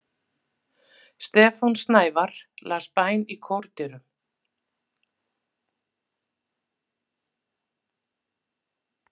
Stefán Snævarr las bæn í kórdyrum.